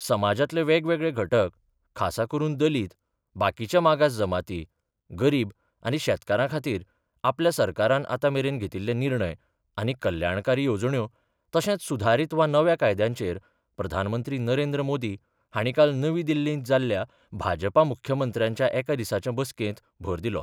समाजातले वेगवेगळे घटक, खासा करुन दलित, बाकीच्या मागास जमाती, गरीब आनी शेतकारा खातीर आपल्या सरकारान आतामेरेन घेतिल्ले निर्णय आनी कल्याणकारी येवजण्यो तशेंच सुधारीत वा नव्या कायद्यांचेर प्रधानमंत्री नरेंद्र मोदी हाणी काल नवी दिल्लींत जाल्ल्या भाजपा मुख्यमंत्र्यांच्या एकादिसाचे बसकेंत भर दिलो.